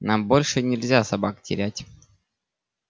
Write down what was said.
нам больше нельзя собак терять